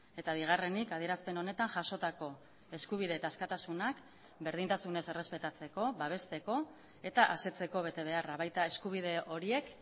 eta bigarrenik adierazpen honetan jasotako eskubide eta askatasunak berdintasunez errespetatzeko babesteko eta asetzeko betebeharra baita eskubide horiek